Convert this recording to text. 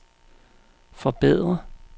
forbedre